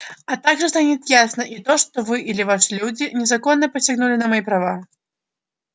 а также станет ясно и то что вы или ваши люди незаконно посягнули на мои права